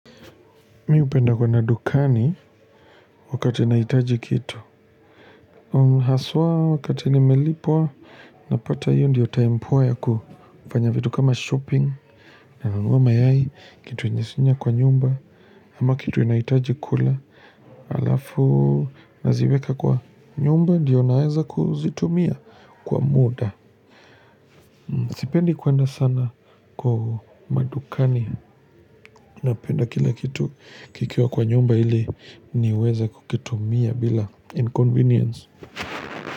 Mimi hupenda kuenda dukani wakati nahitaji kitu. Haswa wakati nimelipwa, napata hiyo ndiyo time poa ya kufanya vitu kama shopping. Nanunua mayai, kitu yenye sina kwa nyumba. Ama kitu ninahitaji kula. Halafu, naziweka kwa nyumba, ndio naeza kuzitumia kwa muda. Sipendi kuenda sana kwa madukani. Napenda kila kitu kikiwa kwa nyumba ili niweza kukitumia bila inconvenience.